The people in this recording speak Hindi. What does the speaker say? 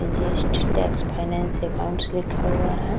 जस्ट टैक्स फाइनेंस अकाउंट लिखा हुआ है।